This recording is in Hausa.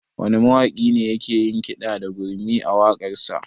Wane mawaƙi ne yake yin kiɗa da gurmi a waƙarsa?